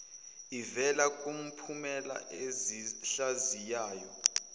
ivela kumiphumela ezihlaziyayo